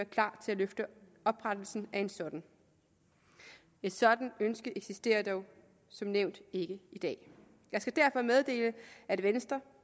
klar til at løfte oprettelsen af en sådan et sådant ønske eksisterer dog som nævnt ikke i dag jeg skal derfor meddele at venstre